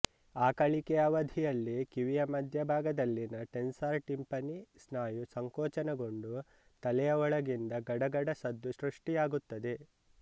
ಆಕಳಿಕೆಯ ಅವಧಿಯಲ್ಲಿ ಕಿವಿಯ ಮಧ್ಯಭಾಗದಲ್ಲಿನ ಟೆನ್ಸರ್ ಟಿಂಪನಿ ಸ್ನಾಯು ಸಂಕೋಚನಗೊಂಡು ತಲೆಯ ಒಳಗಿಂದ ಗಡಗಡ ಸದ್ದು ಸೃಷ್ಟಿಯಾಗುತ್ತದೆ